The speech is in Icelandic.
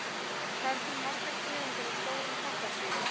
Hvað eru til margar tegundir af stórum kattardýrum?